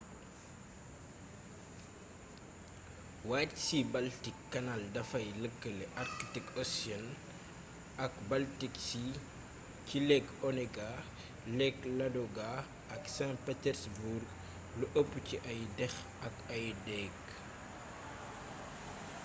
white sea-baltic canal dafay lëkkale arctic ocean ak baltic sea ci lake onega lake ladoga ak saint petersburg lu ëpp ci ay déx ak ay déég